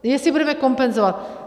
Jestli budeme kompenzovat.